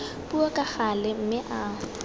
puo ka gale mme a